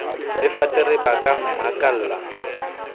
le fatere ba ka mmakalla